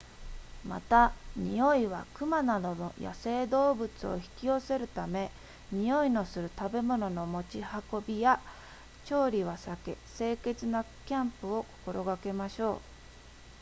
また匂いは熊などの野生動物を引き寄せるため匂いのする食べ物の持ち運びや調理は避け清潔なキャンプを心がけましょう